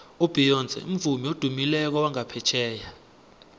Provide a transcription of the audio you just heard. ubeyonce mvumi odumileko wangaphetjheya